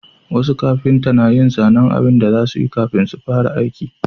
Wasu kafinta na yin zanen abun da za su yi kafin su fara aiki